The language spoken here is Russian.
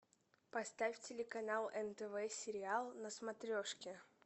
поставь телеканал нтв сериал на смотрешке